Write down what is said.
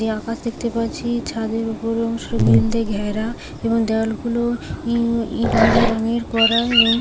আমি আকাশ দেখতে পাচ্ছি ছাদের উপর অংশ গ্রিল ঘেরা এবং দেয়ালগুলো ই-- ইট গুড়ি রঙের করা এবং--